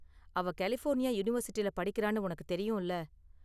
அவ கலிஃபோர்னியா யூனிவர்சிட்டில படிக்குறானு உனக்கு தெரியும்ல?